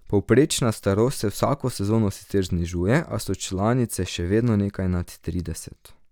Povprečna starost se vsako sezono sicer znižuje, a so članice še vedno nekje nad trideset.